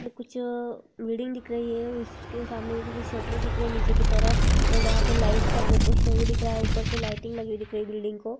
यह कुछ बिल्डिंग दिख रही है उसके सामने कुछ शाटार दिख रही नीचे की तरफ और वहाँ पे लाईट का फोकस दिख रहा है उपर से लाइटिंग लगी हुई दिख रही बिल्डिंग को।